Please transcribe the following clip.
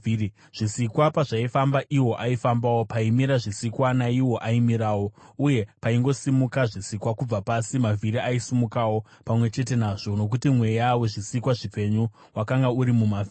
Zvisikwa pazvaifamba, iwo aifambawo; paimira zvisikwa, naiwo aimirawo; uye paingosimuka zvisikwa kubva pasi, mavhiri aisimukawo pamwe chete nazvo, nokuti mweya wezvisikwa zvipenyu wakanga uri mumavhiri.